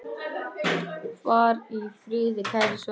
Far í friði, kæri Svenni.